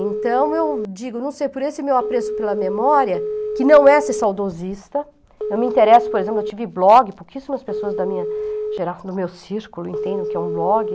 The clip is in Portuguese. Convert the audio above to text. Então, eu digo, não sei, por esse meu apreço pela memória, que meu saudosista, eu me interesso, por exemplo, eu tive blog, pouquíssimas pessoas da minha geração, do meu círculo entendem o que é um blog.